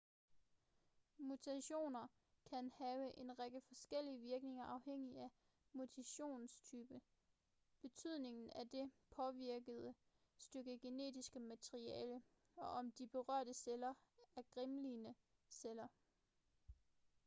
mutationer kan have en række forskellige virkninger afhængigt af mutationstypen betydningen af det påvirkede stykke genetiske materiale og om de berørte celler er germline celler